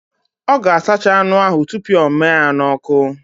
Ọ ga-asacha anụ ahụ tupu ọ mịa ya n'ọkụ